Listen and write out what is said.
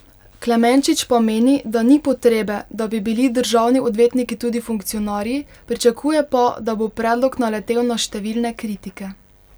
Klemenčič pa meni, da ni potrebe, da bi bili državni odvetniki tudi funkcionarji, pričakuje pa, da bo predlog naletel na številne kritike.